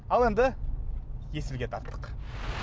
ал енді есілге тарттық